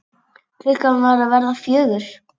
Klukkan var að verða fjögur.